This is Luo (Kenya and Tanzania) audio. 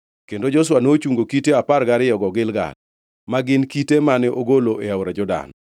Kendo Joshua nochungo kite apar gariyogo Gilgal, ma gin kite mane ogolo e aora Jordan.